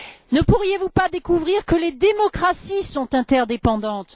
Ne pourriez vous pas découvrir que les démocraties sont interdépendantes?